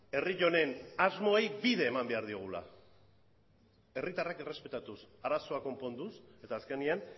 herri honen asmoei bide eman behar diegula herritarrak errespetatuz arazoak konponduz eta azkenean